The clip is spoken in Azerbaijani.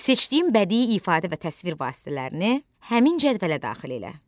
Seçdiyin bədii ifadə və təsvir vasitələrini həmin cədvələ daxil elə.